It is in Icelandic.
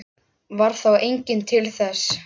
Varð þá enginn til þess.